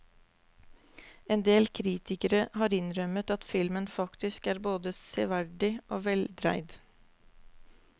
Endel kritikere har innrømmet at filmen faktisk er både severdig og veldreid.